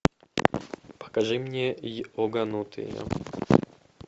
покажи мне йоганутые